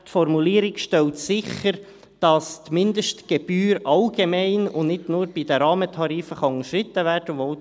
Die Formulierung stellt sicher, dass die Mindestgebühr allgemein, und nicht nur bei den Rahmentarifen, unterschritten werden kann.